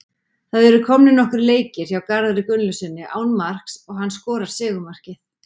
Það eru komnir nokkrir leikir hjá Garðari Gunnlaugssyni án marks og hann skorar sigurmarkið.